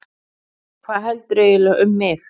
Hvað heldurðu eiginlega um mig!